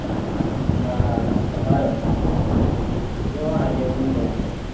હમણાં થી તો હારો ચાલે છે જોવો આગળ